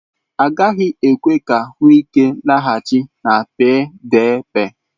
Agaghị ekwe ka Wike laghachi na PDP.